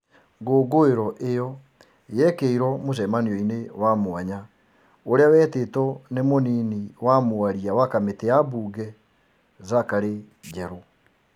Ngũngũĩro ĩo yekĩirwo mũcemanio-inĩ wa mwanya ũrĩa wetĩtwo nĩ mũnini wa mwaria wa Kamĩtĩ ya mbunge, Zakary Njerũ.